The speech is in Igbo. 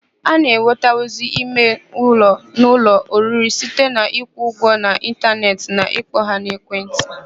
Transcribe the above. A na-enwetanwuzi ime ụlọ n'ụlọ oriri site n'ịkwụ ụgwọ n'ịntaneetị na ịkpọ ha n'ekentị.